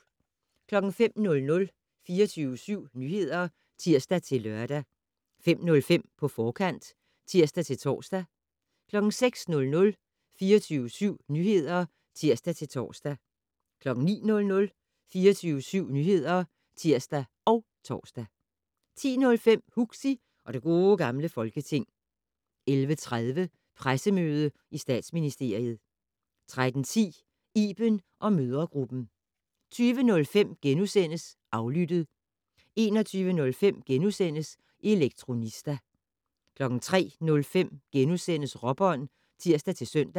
05:00: 24syv Nyheder (tir-lør) 05:05: På forkant (tir-tor) 06:00: 24syv Nyheder (tir-tor) 09:00: 24syv Nyheder (tir og tor) 10:05: Huxi og det Gode Gamle Folketing 11:30: Pressemøde i Statsministeriet 13:10: Iben & mødregruppen 20:05: Aflyttet * 21:05: Elektronista * 03:05: Råbånd *(tir-søn)